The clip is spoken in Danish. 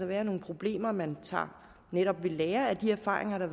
være nogle problemer man tager netop ved lære af de erfaringer der